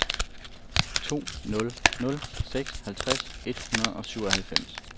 to nul nul seks halvtreds et hundrede og syvoghalvfems